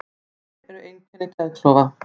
Hver eru einkenni geðklofa?